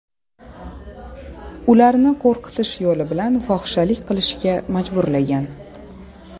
ularni qo‘rqitish yo‘li bilan fohishalik qilishga majburlagan.